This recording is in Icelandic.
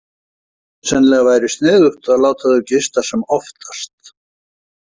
Sennilega væri sniðugt að láta þau gista sem oftast.